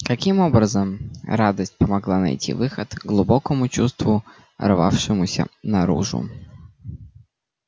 каким образом радость помогла найти выход глубокому чувству рвавшемуся наружу